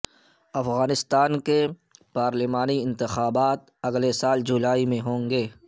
افغانستان کے پارلیمانی انتخابات اگلے سال جولائی میں ہوں گے